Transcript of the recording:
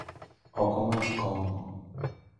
okamadh kong'o